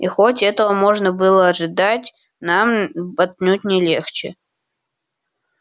и хоть этого можно было ожидать нам отнюдь не легче